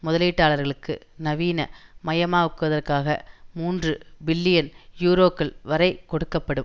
முதலீட்டாளர்களுக்கு நவீன மயமாக்குவதற்காக மூன்று பில்லியன் யூரோக்கள் வரை கொடுக்க படும்